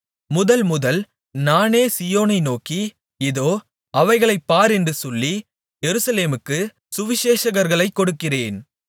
முதல் முதல் நானே சீயோனை நோக்கி இதோ அவைகளைப் பார் என்று சொல்லி எருசலேமுக்குச் சுவிசேஷகர்களைக் கொடுக்கிறேன்